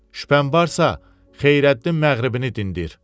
Şübhən varsa, Xeyrəddin Məğribini dindir.